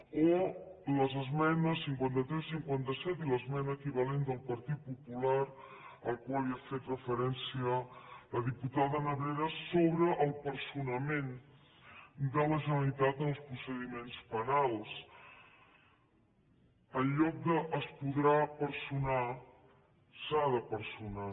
o les esmenes cinquanta tres i cinquanta set i l’esmena equivalent del partit popular a la qual ha fet referència la diputada nebrera sobre la personació de la generalitat en els procediments penals en lloc d’ es podrà personar s’ha de personar